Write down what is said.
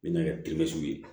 N bɛna kɛ ye